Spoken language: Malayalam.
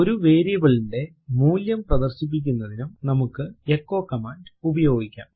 ഒരു വേരിയബിൾ ന്റെ മൂല്യം പ്രദർശിപ്പിക്കുന്നതിനും നമുക്ക് എച്ചോ കമാൻഡ് ഉപയോഗിക്കാം